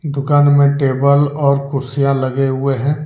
दुकान में टेबल और कुर्सियां लगे हुए हैं।